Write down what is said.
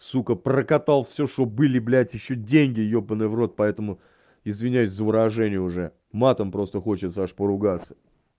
сука прокатал всё что были блять ещё деньги ебанный в рот поэтому извиняюсь за выражение уже матом просто хочет аж поругаться